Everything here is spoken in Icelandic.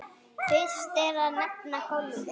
Fyrst er að nefna golfið.